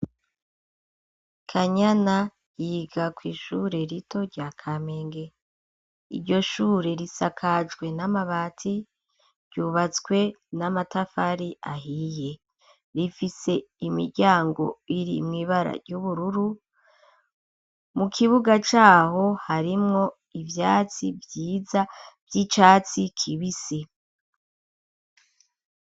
Kanyana yiga kw'ishure rito rya kamenge iryo shure risakajwe n'amabati ryubatswe n'amatafari ahiye, rifise imiryango iri mwibara ry'ubururu mu kibuga caho harimwo ivyatsi vyiza vy'icatsi kibisi.